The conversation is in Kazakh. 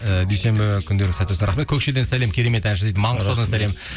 і дүйсенбі күндеріңіз сәтті өтсін рахмет көкшеден сәлем керемет әнші дейді маңғыстаудан сәлем